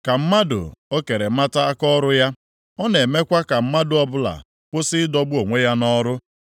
Ka mmadụ o kere mata akaọrụ ya; ọ na-emekwa ka mmadụ ọbụla kwụsị ịdọgbu onwe ya nʼọrụ.